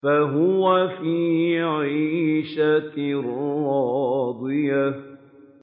فَهُوَ فِي عِيشَةٍ رَّاضِيَةٍ